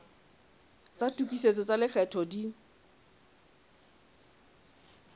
tsa tokisetso tsa lekgetho di